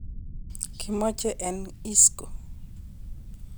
Kimoche en Isco.